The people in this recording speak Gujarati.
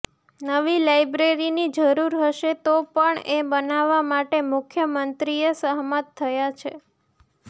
નવી લાઈબ્રેરીની જરૂર હશે તો પણ એ બનાવવા માટે મુખ્યમંત્રીએ સહમત થયા છે